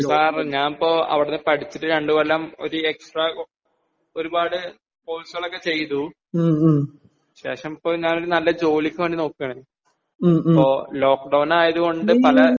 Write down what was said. sir ഞാൻ ഇപ്പോ അവിടെ പടിച്ചിട്ട് രണ്ടു കൊല്ലം ഒരു എക്സ്ട്രാ ഒരു പാട് കോഴ്സ്കളൊക്കെ ചെയ്തു ശേഷം ഞാനിപ്പോ നല്ല ജോലിക്ക് വേണ്ടി നോക്കാണ് അപ്പോ ലോക്ക് ഡൌൺ ആയത് കൊണ്ട് പല